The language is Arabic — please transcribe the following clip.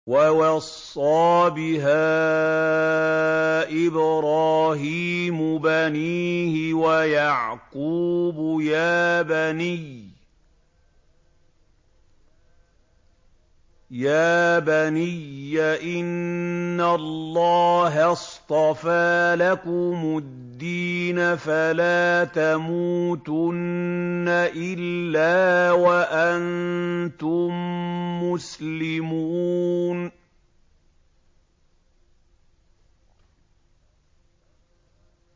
وَوَصَّىٰ بِهَا إِبْرَاهِيمُ بَنِيهِ وَيَعْقُوبُ يَا بَنِيَّ إِنَّ اللَّهَ اصْطَفَىٰ لَكُمُ الدِّينَ فَلَا تَمُوتُنَّ إِلَّا وَأَنتُم مُّسْلِمُونَ